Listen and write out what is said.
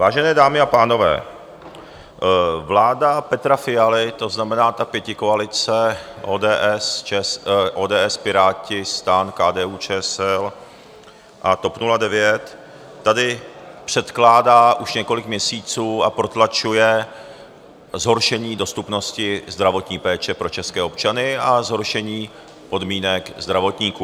Vážené dámy a pánové, vláda Petra Fialy, to znamená ta pětikoalice ODS, Piráti, STAN, KDU-ČSL a TOP 09, tady předkládá už několik měsíců a protlačuje zhoršení dostupnosti zdravotní péče pro české občany a zhoršení podmínek zdravotníků.